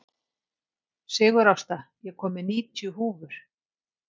Sigurásta, ég kom með níutíu húfur!